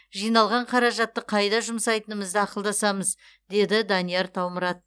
жиналған қаражатты қайда жұмсайтынымызды ақылдасамыз деді данияр таумұрат